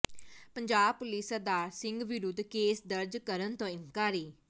Punjab police Sardar Singh ਵਿਰੁੱਧ case ਦਰਜ ਕਰਨ ਤੋਂ ਇਨਕਾਰੀ